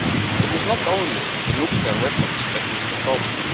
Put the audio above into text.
It is not only the nuclear weapons that is the problem.